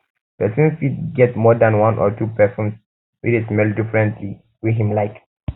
person fit get more than one or two perfumes wey de smell differently wey him like